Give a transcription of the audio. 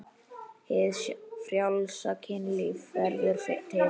Hið frjálsa kynlíf verður til.